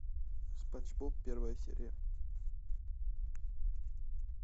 спанч боб первая серия